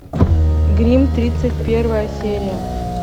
гримм тридцать первая серия